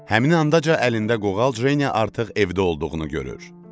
Həmin andaca əlində qoğal Jeniya artıq evdə olduğunu görür.